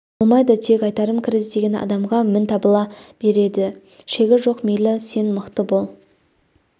болмайды тек айтарым кір іздеген адамға мін табыла береді шегі жоқ мейлі сен мықты бол